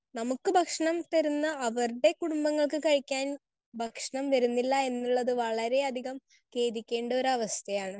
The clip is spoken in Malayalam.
സ്പീക്കർ 1 നമുക്ക് ഭക്ഷണം തരുന്ന അവരുടെ കുടുംബങ്ങൾക്ക് കഴിക്കാൻ ഭക്ഷണം വരുന്നില്ല എന്നുള്ളത് വളരെയധികം ഖേദിക്കേണ്ട ഒരവസ്ഥയാണ്.